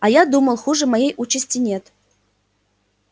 а я думал хуже моей участи нет